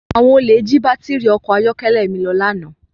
Àwọn olè jí baátìrì ọkọ̀ ayọ́kẹ́lẹ́ mi lọ lánàá.